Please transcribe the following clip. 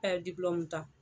ta